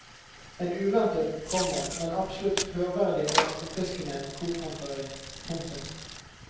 En uventet, komma men absolutt hørverdig og forfriskende korfremføring. punktum